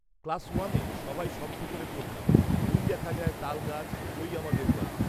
class ওয়ানে সবাই শব্দ করে পড়তাম "ঐ দেখা যায় তাল গাছ ঐ আমাদের গাঁ"